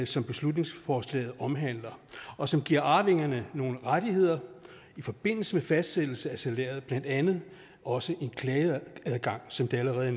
som beslutningsforslaget omhandler og som giver arvingerne nogle rettigheder i forbindelse med fastsættelse af salæret blandt andet også en klageadgang som det allerede